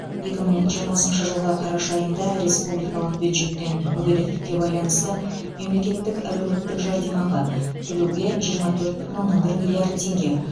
екі мың жиырмасыншы жылғы қараша айында республикалық бюджеттен мүгедектікке байланысты мемлекеттік әлеуметтік жәрдемақы төлеуге жиырма төрт бүтін оннан бір миллиард теңге